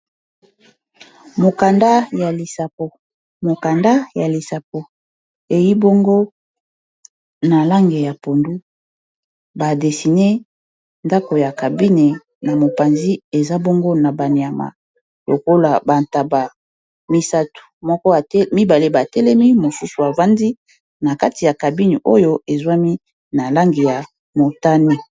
mokanda ya lissapo eyi bongo na lange ya pondu badesine ndako ya cabine na mopanzi eza bongo na banyama lokola bantaba misato moko mibale batelemi mosusu avandi na kati ya cabine oyo ezwami na lange ya motani